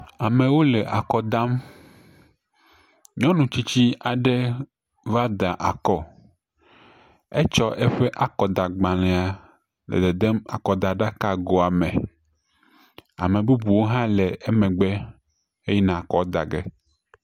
Amewo le akɔ dam, nyɔnu tsitsi aɖe va da akɔ, etsɔ eƒe akɔdagbalẽa le dedem akɔdaɖakagoa me, ame bubuwo hã le emegbe heyina akɔa dagbe.